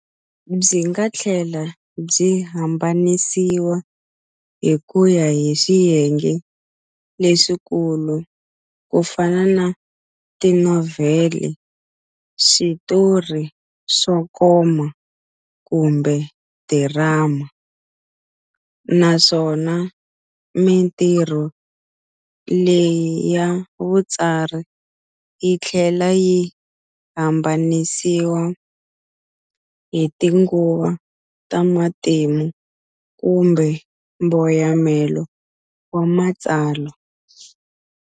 Byinga thlela byi hambanisiwa hikuya hi swiyenge leswikulu kufana na Tinovhele, Switori swo koma kumbe Dirama, naswona mintirho leyi ya vutsari yithlela yi hambanisiwa hi tinguva ta matimu kumbe mboyamelo wa matsalwa.